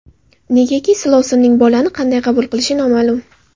Negaki silovsinning bolani qanday qabul qilishi noma’lum.